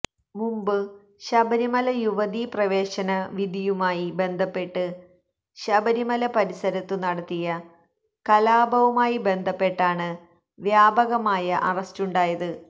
മുമ്പ് ശബരിമല യുവതീ പ്രവേശന വിധിയുമായി ബന്ധപ്പെട്ട് ശബരിമല പരിസരത്തു നടത്തിയ കലാപവുമായി ബന്ധപ്പെട്ടാണ് വ്യാപകമായ അറസ്റ്റുണ്ടായത്